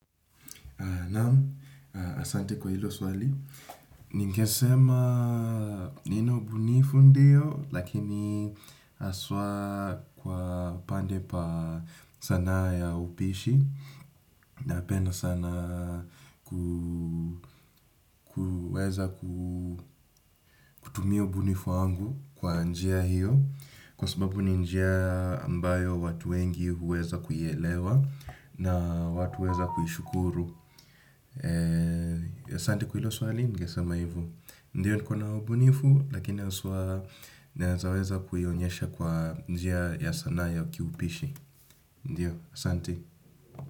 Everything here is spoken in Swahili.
Naam, asante kwa hilo swali. Ningesema nina ubunifu ndiyo, lakini haswa kwa pande pa sanaa ya upishi. Napenda sana kuweza kutumia ubunifu wangu kwa njia hio. Kwa sababu ni njia ambayo watu wengi huweza kuielewa na watu huweza kuishukuru. Asante kwa hilo swali ningesema hivo. Ndiyo niko na ubunifu lakini haswa naeza weza kuonyesha kwa njia ya sanaa ya kiupishi. Ndiyo, asante.